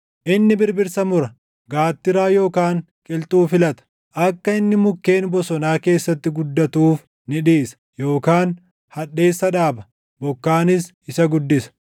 Inni birbirsa mura; gaattiraa yookaan qilxuu filata. Akka inni mukkeen bosonaa keessatti guddatuuf ni dhiisa; yookaan hadheessa dhaaba; bokkaanis isa guddisa.